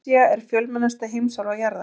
Asía er fjölmennasta heimsálfa jarðar.